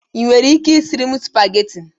Ị nwere ike isiri m spagheti?